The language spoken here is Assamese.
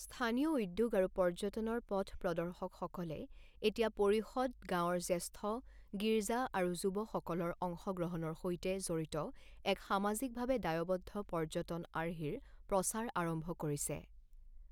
স্থানীয় উদ্যোগ আৰু পৰ্যটনৰ পথপ্ৰদৰ্শকসকলে এতিয়া পৰিষদ, গাঁৱৰ জ্যেষ্ঠ, গীৰ্জা আৰু যুৱসকলৰ অংশগ্ৰহণৰ সৈতে জড়িত এক সামাজিকভাৱে দায়বদ্ধ পৰ্যটন আৰ্হিৰ প্ৰচাৰ আৰম্ভ কৰিছে।